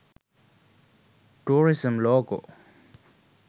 tourism logo